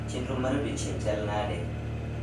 Chenro mar odiechieng' chal nade